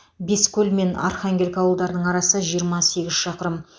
бескөл мен архангелка ауылдарының арасы жиырма сегіз шақырым